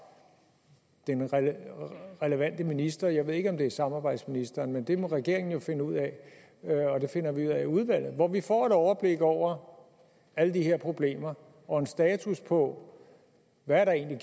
den relevante minister jeg ved ikke om det er samarbejdsministeren men det må regeringen jo finde ud af og det finder vi ud af i udvalget og hvor vi får et overblik over alle de her problemer og en status på hvad der egentlig